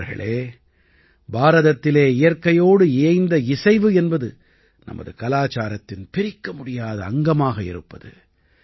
நண்பர்களே பாரதத்திலே இயற்கையோடு இயைந்த இசைவு என்பது நமது கலாச்சாரத்தின் பிரிக்கமுடியாத அங்கமாக இருப்பது